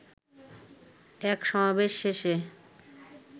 এক সমাবেশ শেষে